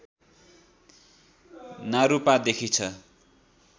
नारूपादेखि छ